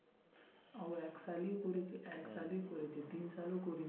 আবার এক সালই করেছে, এক সালই করেছে দুই সালও করেনি